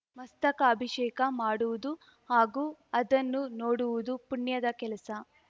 ಮಸ್ತಕಾಭಿಷೇಕ ಮಾಡುವುದು ಹಾಗೂ ಅದನ್ನು ನೋಡುವುದು ಪುಣ್ಯದ ಕೆಲಸ